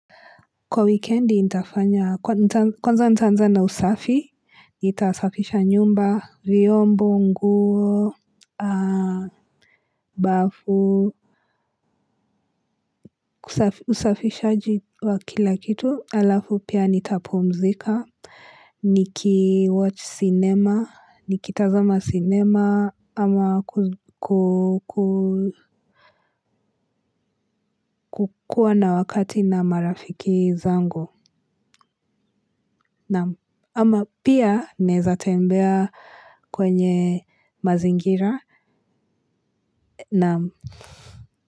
Kwa wikendi nitafanya, kwanza ntaanzana usafi, nitasafisha nyumba, vyombo, nguo, bafu, usafishaji wa kila kitu, halafu pia nitapumzika, niki watch sinema, nikitazama sinema, ama kukuwa na wakati na marafiki zangu. Ama pia naeza tembea kwenye mazingira.